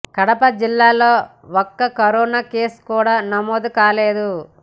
కడప జిల్లాలో ఒక్క corona case కూడా నమోదు కాలేదు